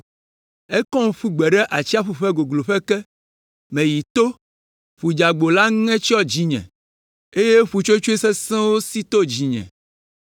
Ekɔm ƒu gbe ɖe atsiaƒu ƒe gogloƒe ke; meyi to, ƒu dzeagbo la ŋe tsyɔ dzinye, eye ƒutsotsoe sesẽwo si to dzinye.